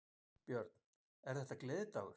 Björn: Er þetta gleðidagur?